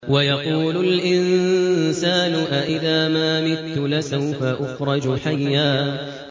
وَيَقُولُ الْإِنسَانُ أَإِذَا مَا مِتُّ لَسَوْفَ أُخْرَجُ حَيًّا